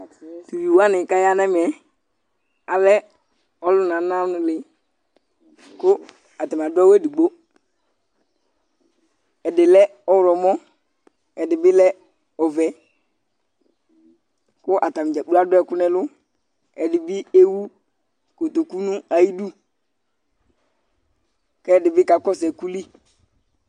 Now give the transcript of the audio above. Tʋ uvi wanɩ kʋ aya nʋ ɛmɛ alɛ ɔlʋnananɩ kʋ atanɩ adʋ awʋ edigbo Ɛdɩ lɛ ɔɣlɔmɔ, ɛdɩ bɩ lɛ ɔvɛ kʋ atanɩ dza kplo adʋ ɛkʋ nʋ ɛlʋ Ɛdɩ bɩ ewu kotoku nʋ ayidu kʋ ɛdɩ bɩ kakɔsʋ ɛkʋ li